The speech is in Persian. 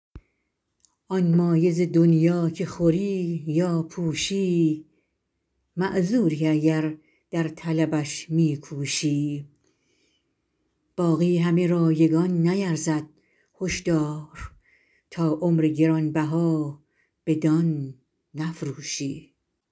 آن مایه ز دنیا که خوری یا پوشی معذوری اگر در طلبش می کوشی باقی همه رایگان نیرزد هش دار تا عمر گران بها بدان نفروشی